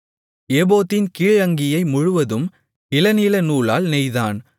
ஏபோத்தின் கீழ் அங்கியை முழுவதும் இளநீலநூலால் நெய்தான்